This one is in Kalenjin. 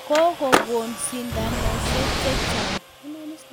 ko go kon shidoshek chechang